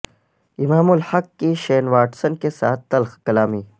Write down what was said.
امام الحق کی Shane Watson کے ساتھ تلخ کلامی